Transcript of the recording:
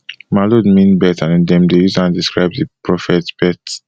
maulud mean birth and dem dey use am to describe di prophet birth